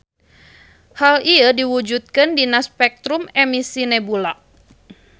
Hal ieu diwujudkeun dina spektrum emisi nebula.